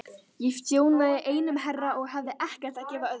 Ég þjónaði einum herra og hafði ekkert að gefa öðrum.